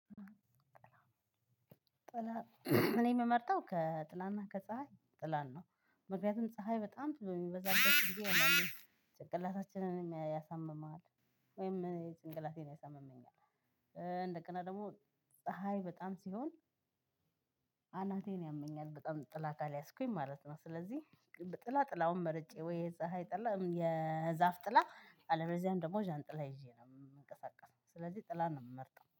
ጥላ እኔ የምመርጠው ከጥላና ከፀሀይ ጥላን ነው ምክንያቱም ፀሀይ በጣም በሚበዛበት ጊዜ አንዳንዴ ጭንቅላታችንንም ያሳምማል ወይም እኔ ጭንቅላቴን ያሳምመኛል። እንደገና ደግሞ ፀሀይ በጣም ሲሆን አናቴን ያመኛል በጣም ጥላ ካልያዝኩኝ ማለት ነው። ስለዚህ ጥላ ጥላውን መርጬ ወይ? የፀሀይ ጥላ የዛፍ ጥላ አለበዚያ ደግሞ ዣንጥላ ይዤ ነው የምንቀሳቀሰው ስለዚህ ጥላ ነው የምመርጠው